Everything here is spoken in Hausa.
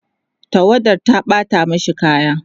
tawadar ta ɓata mashi kaya